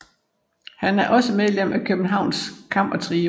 Han er også medlem af Københavns Kammertrio